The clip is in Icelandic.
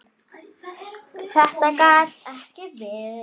Þetta gat ekki verið.